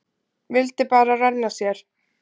Vildi bara renna sér.